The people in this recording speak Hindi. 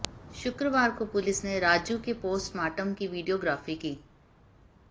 शुक्रवार को पुलिस ने राजू के पोस्टमार्टम की वीडियोग्राफी की